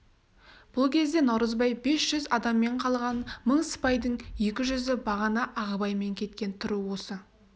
бұл кезде наурызбай бес жүз адаммен қалған мың сыпайдың екі жүзі бағана ағыбаймен кеткен тыру осы